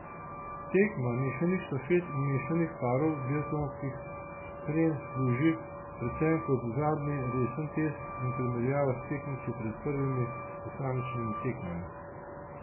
Tekma mešanih štafet in mešanih parov biatlonski srenji služi predvsem kot zadnji resen test in primerjava s tekmeci pred prvimi posamičnimi tekmami.